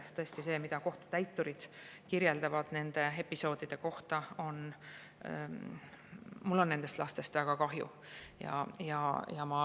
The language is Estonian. Tõesti see, mida kohtutäiturid on kirjeldanud nendest episoodidest rääkides – mul on nendest lastest väga kahju.